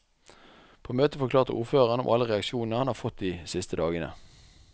På møtet forklarte ordføreren om alle reaksjonene han har fått de siste dagene.